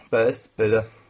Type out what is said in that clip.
Bəs, belə.